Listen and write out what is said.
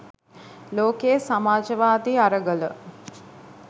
ලෝකයේ සමාජවාදී අරගල